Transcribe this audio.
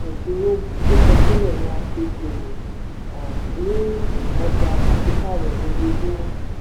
ìdúró kíkọsílẹ̀ ni a fi ṣòwò um ní ọjà pàṣípààrọ̀ lojoojúmọ́.